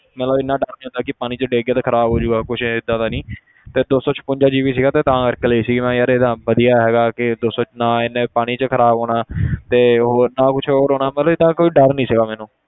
ਮਤਲਬ ਇੰਨਾ ਡਰ ਨੀ ਹੁੰਦਾ ਕਿ ਪਾਣੀ 'ਚ ਡਿੱਗ ਕੇ ਤੇ ਖ਼ਰਾਬ ਹੋ ਜਾਊਗਾ ਕੁਛ ਏਦਾਂ ਦਾ ਨੀ ਤੇ ਦੋ ਸੌ ਛਪੰਜਾ GB ਸੀਗਾ ਤੇ ਤਾਂ ਕਰਕੇ ਲਈ ਸੀ ਮੈਂ ਕਿਹਾ ਯਾਰ ਇਹ ਤਾਂ ਵਧੀਆ ਹੈਗਾ ਕਿ ਦੋ ਸੌ, ਨਾ ਇਹਨੇ ਪਾਣੀ 'ਚ ਖ਼ਰਾਬ ਹੋਣਾ ਤੇ ਹੋਰ ਨਾ ਕੁਛ ਹੋਰ ਹੋਣਾ ਮਤਲਬ ਏਦਾਂ ਕੋਈ ਡਰ ਨੀ ਸੀਗਾ ਮੈਨੂੰ।